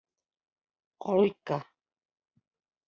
Olga